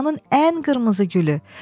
dünyanın ən qırmızı gülü.